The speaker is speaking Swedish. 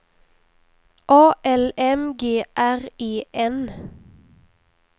A L M G R E N